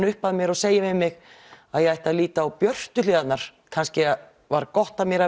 upp að mér og segir við mig að ég ætti að líta á björtu hliðarnar kannski var gott að mér